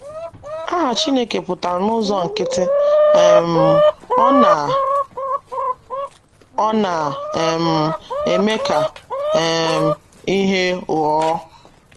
Aha Chineke pụtara n’ụzọ nkịtị um “ Ọ Na “ Ọ Na um - eme Ka um ihe Ghọọ. ”